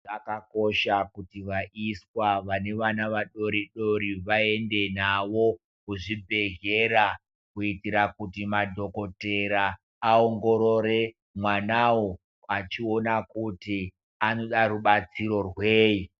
Zvakakosha kuti vaiswa vane vana vadoridori vaende navo kuzvibhehlera kuitira kuti madhokotera vaongorore mwanawo vachiona kuti anoda rubatsiro rwei.